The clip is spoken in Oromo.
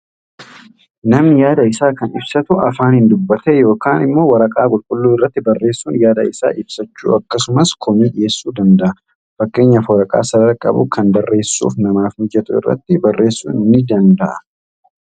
Namni yaada isaa kan ibsatu afaaniin dubbatee yookaan immooo waraqaa qulqulluu irratti barreessuun yaada isaa ibsachuu, akkasumas komee dhiyeessuu ni danda'a. Fakkeenyaaf waraqaa sarara qabu kan barreessuuf namaaaf mijatu irratti barreessuu ni danda'a.